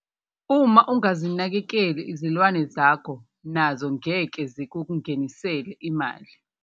Uma ungazinakekeli izilwane zakho nazo ngeke zakungenisela imali.